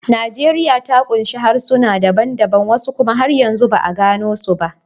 Najeriya ta kunshi harsuna daban-daban, wasu kuma har yanzu ba a gano su ba.